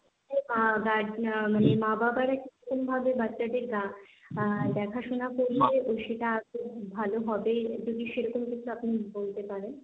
আ but মানে মা বাবারা কিরকম ভাবে বাচ্চাদের আ দেখাশোনা করলে ও সেটা খুব ভালো হবে, যদি সেরকম কিছু আপনি বলতে পারেন?